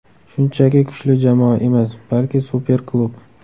Shunchaki kuchli jamoa emas, balki super klub!